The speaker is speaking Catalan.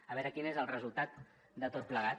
a veure quin és el resultat de tot plegat